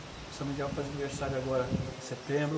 São Miguel faz aniversário agora em setembro.